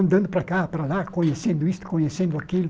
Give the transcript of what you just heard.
Andando para cá, para lá, conhecendo isso, conhecendo aquilo.